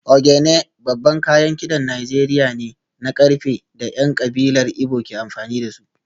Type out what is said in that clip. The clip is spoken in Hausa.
Ogene babban kayan kidan Najeriya ne na karfe da ‘yan kabilar Igbo ke amfani da su